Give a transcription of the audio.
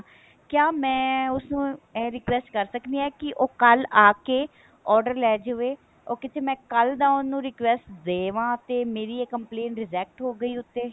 ਕਿਹਾ ਮੈਂ ਉਸਨੂੰ ਇਹ request ਕਰ ਸਕਦੀ ਹਾਂ ਕੀ ਉਹ ਕੱਲ ਆਕੇ order ਲੈਜਾਵੇ ਉਹ ਕਿਤੇ ਮੈਂ ਕੱਲ ਦਾ ਉਹਨੂੰ request ਦੇਵਾ ਤੇ ਮੇਰੀ ਇਹ complaint reject ਹੋ ਗਈ ਉੱਥੇ